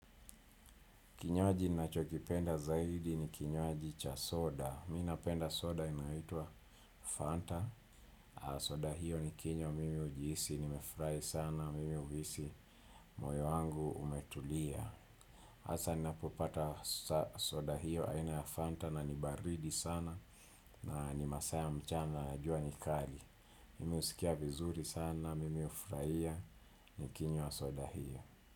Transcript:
Kinywaji nachokipenda zaidi ni kinywaji cha soda. Mi napenda soda inaitwa Fanta. Soda hiyo ni kinywa mimi ujihisi, nimefurahi sana, mimi uhisi, moyo wangu umetulia. Asa ninapopata soda hiyo aina ya Fanta na nibaridi sana na ni masaa ya mchana na jua nikali. Mimi husikia vizuri sana, mimi ufurahia, nikinywa soda hiyo.